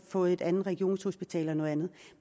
fået et andet regionshospital eller noget andet